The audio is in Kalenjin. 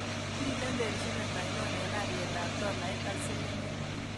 Miten terchinet ainon eng' alyetap tolait ak silingiit